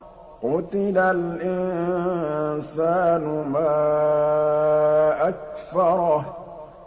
قُتِلَ الْإِنسَانُ مَا أَكْفَرَهُ